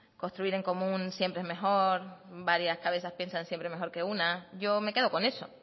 construir en común siempre es mejor varias cabezas piensan siempre mejor que una yo me quedo con eso